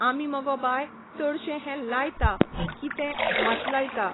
आमी मगो बाय चडशे हें लायता कितें भात लायता